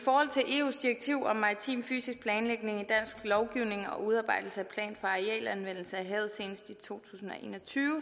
eus direktiv om maritim fysisk planlægning i dansk lovgivning og udarbejdelse af plan for arealanvendelse af havet senest i to tusind og en og tyve